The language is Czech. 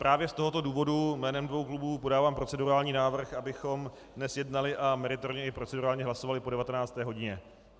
Právě z tohoto důvodu jménem dvou klubů podávám procedurální návrh, abychom dnes jednali a meritorně i procedurálně hlasovali po 19. hodině.